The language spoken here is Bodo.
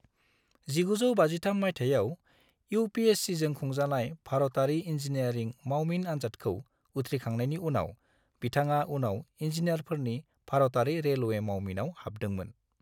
1953 माइथायाव यूपीएससीजों खुंजानाय भारतारि इंजीनियरिं मावमिन आनजादखौ उथ्रिखांनायनि उनाव, बिथाङा उनाव इंजीनियारफोरनि भारतारि रेलवे मावमिनाव हाबदोंमोन।